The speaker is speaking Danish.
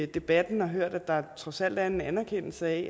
debatten og hørt at der trods alt er en anerkendelse af